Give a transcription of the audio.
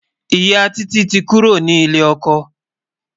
ìyá Títí tí kúrò ní ilè okò